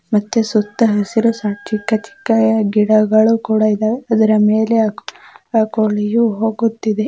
ಮತ್ತೆ ಸುತ್ತ ಹಸಿರು ಚಿಕ್ಕ ಚಿಕ್ಕ ಗಿಡಗಳು ಕುಡ ಇದವೆ ಅದರ ಮೇಲೆ ಕೋಳಿ ಹೋಗುತ್ತಿದೆ .